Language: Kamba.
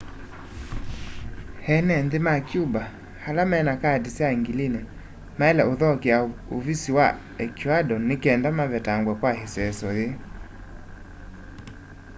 eene nthi ma cuba ala mena kaati sya ngilini maile uthokea uvisi wa ecuador nikenda mavetangwe kwa iseeso yii